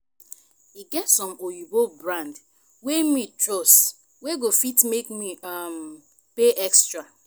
e get some oyinbo brand wey me trust wey go fit make me um pay extra